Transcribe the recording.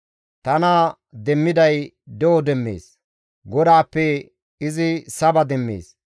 Tana demmiday de7o demmees; GODAAPPE izi saba demmees.